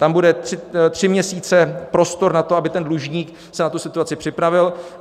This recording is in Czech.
Tam bude tři měsíce prostor na to, aby ten dlužník se na tu situaci připravil.